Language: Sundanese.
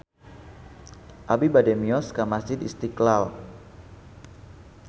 Abi bade mios ka Masjid Istiqlal